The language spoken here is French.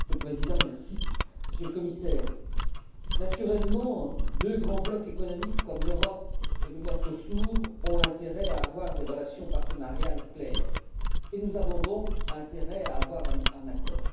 Monsieur le Président, Monsieur le Commissaire, naturellement, deux grands blocs économiques comme l'Europe et le MERCOSUR ont intérêt à avoir des relations partenariales claires et nous avons donc intérêt à trouver un accord.